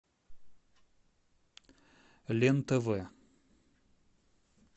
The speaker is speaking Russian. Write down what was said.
лен тв